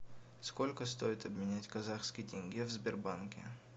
сколько стоит обменять казахский тенге в сбербанке